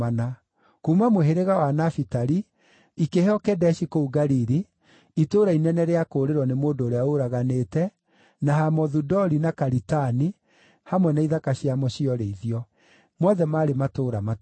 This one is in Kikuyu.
kuuma mũhĩrĩga wa Nafitali, ikĩheo Kedeshi kũu Galili (itũũra inene rĩa kũũrĩrwo nĩ mũndũ ũrĩa ũraganĩte), na Hamothu-Dori na Karitani, hamwe na ithaka ciamo cia ũrĩithio; mothe maarĩ matũũra matatũ.